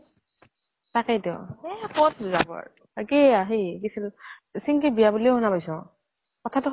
তাকেই তো । এ কʼত যাব আৰু। আকে আ সেইত গিছিলো চিন্কিৰ বিয়া বুলি শুনা পাইছো। কথাতো